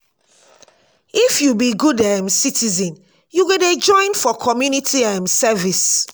if you be good um citizen you go dey join for community um service.